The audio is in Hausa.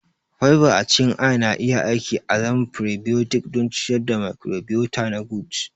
Fiber a cikin ayana iya aiki azaman prebiotic don ciyar da microbiota na gut